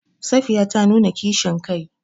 Safiya ta nuna kishin kai.